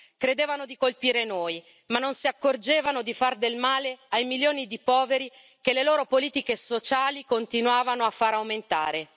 Credevano di colpire noi, ma non si accorgevano di fare del male ai milioni di poveri che le loro politiche sociali continuavano a far aumentare.